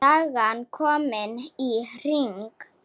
Sagan komin í hring.